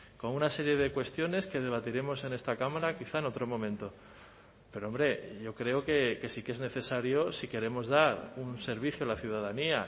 con una serie de cuestiones que debatiremos en esta cámara quizá en otro momento pero hombre yo creo que sí que es necesario si queremos dar un servicio a la ciudadanía